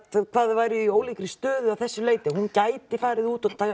hvað þau væru í ólíkri stöðu að þessu leyti að hún gæti farið út og